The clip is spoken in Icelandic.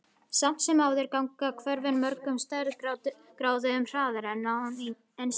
Samt sem áður ganga hvörfin mörgum stærðargráðum hraðar en án ensíms.